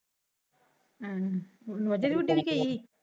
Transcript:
ਹਮ ਨੋਜੇ ਨੁਜੇ ਵੀ ਘੇਰੀ ਹੋਈ।